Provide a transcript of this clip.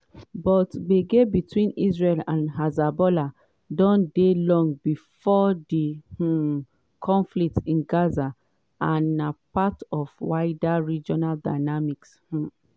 but gbege between israel and hezbollah don dey long before di um conflict in gaza and na part of wider regional dynamics. um